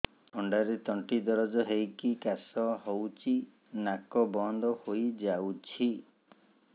ଥଣ୍ଡାରେ ତଣ୍ଟି ଦରଜ ହେଇକି କାଶ ହଉଚି ନାକ ବନ୍ଦ ହୋଇଯାଉଛି